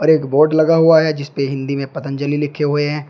एक बोर्ड लगा हुआ है जिसपे हिंदी में पतंजलि लिखे हुए हैं।